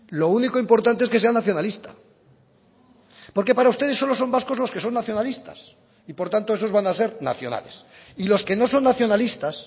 lo único importante es que sea nacionalista porque para ustedes solo son vascos los que son nacionalistas y por tanto esos van a ser nacionales y los que no son nacionalistas